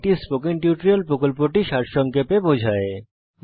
এটি spoken tutorial প্রকল্পটি সারসংক্ষেপে বোঝায়